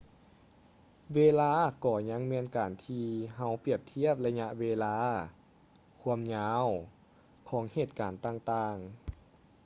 ເວລາກໍຍັງແມ່ນການທີ່ເຮົາປຽບທຽບໄລຍະເວລາ ຄວາມຍາວ ຂອງເຫດການຕ່າງໆ